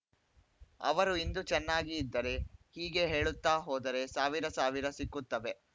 ಅವರು ಇಂದು ಚೆನ್ನಾಗಿ ಇದ್ದರೆ ಹೀಗೆ ಹೇಳುತ್ತಾ ಹೋದರೆ ಸಾವಿರ ಸಾವಿರ ಸಿಕ್ಕುತ್ತವೆ